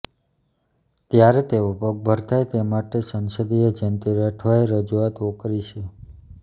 ત્યારે તેઓ પગભર થાય તે માટે સંસદીય જેન્તી રાઠવાએ રજૂઆત ઔકરી છે